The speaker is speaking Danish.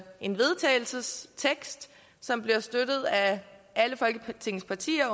en vedtagelsestekst som bliver støttet af alle folketingets partier